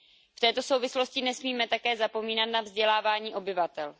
V této souvislosti nesmíme také zapomínat na vzdělávání obyvatel.